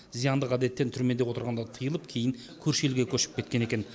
зияндық әдеттен түрмеде отырғанда тыйылып кейін көрші елге көшіп кеткен екен